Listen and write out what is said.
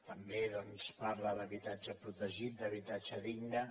també doncs parla d’habitatge protegit d’habitatge digne